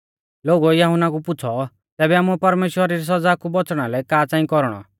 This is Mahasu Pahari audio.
लोगुऐ यहुन्ना कु पुछ़ौ तैबै आमुऐ परमेश्‍वरा री सौज़ा कु बौच़णा लै का च़ांई कौरणौ